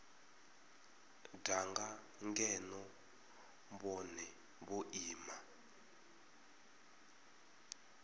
danga ngeno vhone vho ima